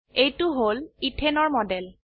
এইটো হল ইথেন এৰ মডেল